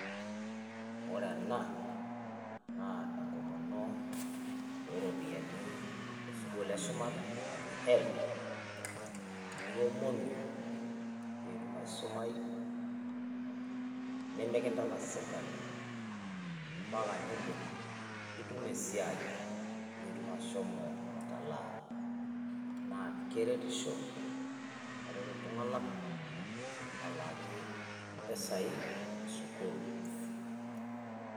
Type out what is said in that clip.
Ore ena naa enkomono oo ropiyiani e sukuul e shumata naji HELB niomonu pee itum aisumayu. Nemekintalak sirkali mpaka nidip nitum esiai pee itum ashomo atalaa. Naa keretisho aret iltung'anak alaaki mpisai e sukuul.